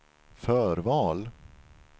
förval